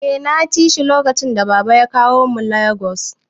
Eh naci shi lokacin da baba ya kawo mu Lagos